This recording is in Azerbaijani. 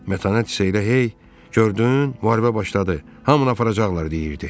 Mətanət isə elə hey, gördün, müharibə başladı, hamını aparacaqlar deyirdi.